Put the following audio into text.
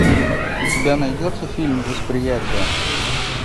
у тебя найдется фильм восприятие